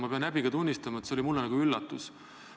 Ma pean häbiga tunnistama, et see oli mulle üllatus.